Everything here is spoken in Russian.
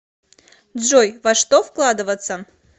джой во что вкладываться